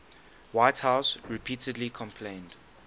whitehouse repeatedly complained